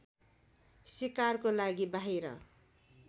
शिकारको लागि बाहिर